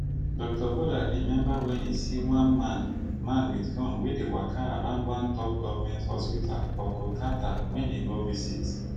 dr bodhak remember wen e see one man man wit gun wey dey waka around one top govment hospital for kolkata wen e go visit